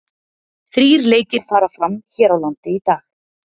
Þrír lekir fara fram hér á landi í dag.